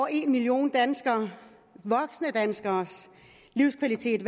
en million voksne danskeres livskvalitet